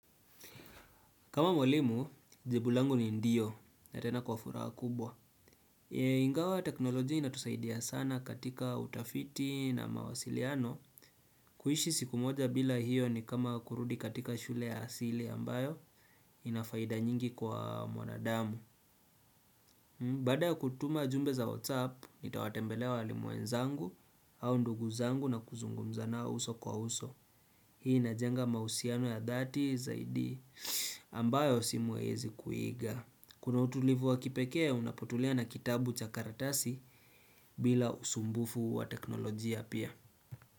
Kama mwalimu, jibu langu ni ndiyo na tena kwa furaha kubwa. Ingawa teknoloji inatusaidia sana katika utafiti na mawasiliano. Kuishi siku moja bila hiyo ni kama kurudi katika shule ya asili ambayo inafaida nyingi kwa mwanadamu. Baada kutuma jumbe za WhatsApp, nitawatembelea walimu wenzangu au ndugu zangu na kuzungumza na uso kwa uso. Hii inajenga mausiano ya dhati zaidi ambayo simu haiezi kuiga. Kuna utulivu wa kipekea unapotulia na kitabu cha karatasi bila usumbufu wa teknolojia pia.